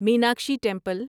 Meenakshi temple